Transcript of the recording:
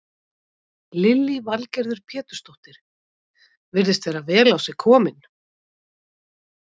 Lillý Valgerður Pétursdóttir: Virðist vera vel á sig kominn?